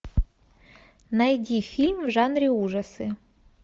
найди фильм в жанре ужасы